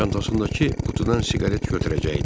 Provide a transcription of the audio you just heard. Çantasındakı qutudan siqaret götürəcəkdi.